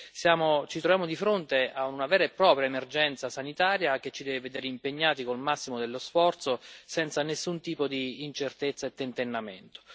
Quindi ci troviamo di fronte a una vera e propria emergenza sanitaria, che ci deve vedere impegnati con il massimo dello sforzo, senza nessun tipo di incertezza e tentennamento.